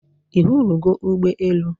I hụrụ go Ugbe elu?